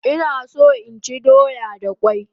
Ina so inchi doya da kwai